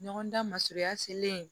Ɲɔgɔn dan masurunya selen